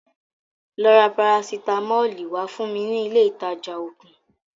Lọ ra parasitamọli wá fún mi ní ilé ìtajà ògùn